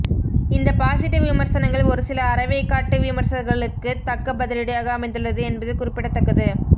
இந்த பாசிட்டிவ் விமர்சனங்கள் ஒருசில அரைவேக்காட்டு விமர்சகர்களுக்கு தக்க பதிலடியாக அமைந்துள்ளது என்பது குறிப்பிடத்தக்கது